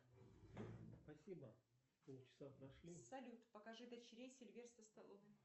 спасибо полчача прошли салют покажи дочерей сильвестра сталлоне